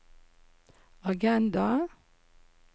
agenda